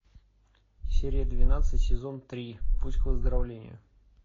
серия двенадцать сезон три путь к выздоровлению